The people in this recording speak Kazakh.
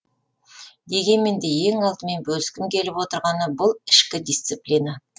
дегенмен де ең алдымен бөліскім келіп отырғаны бұл ішкі дисциплина